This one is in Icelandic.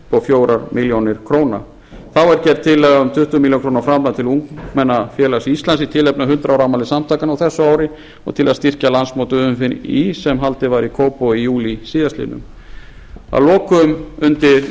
verið fjórar milljónir króna þá er gerð tillaga um tuttugu milljónir króna framlag til ungmennafélags íslands í tilefni af hundrað ára afmæli samtakanna á þessu ári og til að styrkja landsmót umfí sem haldið var í kópavogi í júlí síðastliðinn að lokum undir